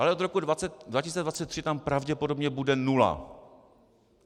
Ale od roku 2023 tam pravděpodobně bude nula.